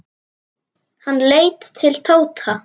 Hann leit til Tóta.